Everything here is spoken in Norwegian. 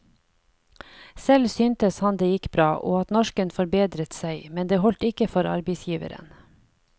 Selv syntes han det gikk bra, og at norsken forbedret seg, men det holdt ikke for arbeidsgiveren.